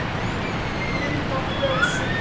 Mynd að ljósi?